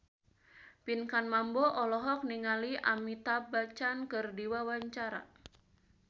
Pinkan Mambo olohok ningali Amitabh Bachchan keur diwawancara